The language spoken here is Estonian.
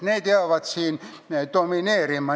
Need jäävad siin domineerima.